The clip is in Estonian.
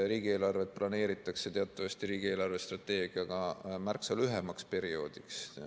Riigieelarvet planeeritakse teatavasti riigi eelarvestrateegiaga märksa lühemaks perioodiks.